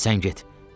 Sən get.